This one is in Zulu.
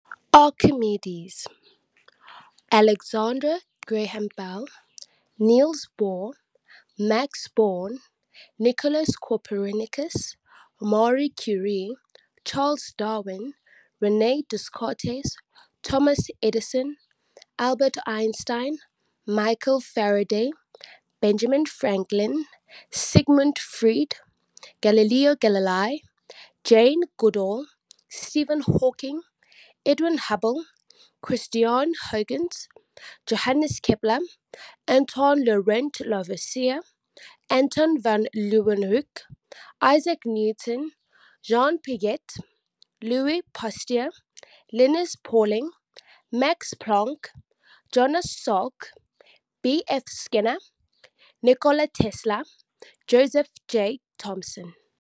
Archimedes - Alexander Graham Bell - Niels Bohr - Max Born - Nicolaus Copernicus - Marie Curie - Charles Darwin - Rene Descartes - Thomas Edison - Albert Einstein - Michael Faraday - Benjamin Franklin - Sigmund Freud - Galileo Galilei - Jane Goodall - Stephen Hawking - Edwin Hubble - Christiaan Huygens - Johannes Kepler - Antoine Laurent Lavoisier - Anton van Leeuwenhoek - Isaac Newton - Jean Piaget - Louis Pasteur - Linus Pauling - Max Planck - Jonas Salk - B. F. Skinner - Nikola Tesla - Joseph J. Thomson